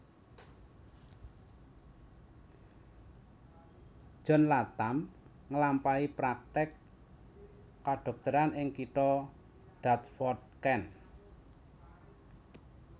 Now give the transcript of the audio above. John Latham nglampahi praktèk kadhokteran ing kitha Dartford Kent